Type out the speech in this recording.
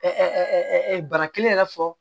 bana kelen yɛrɛ fɔ